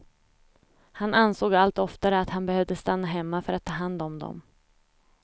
Han ansåg allt oftare att han behövde stanna hemma för att ta hand om dem.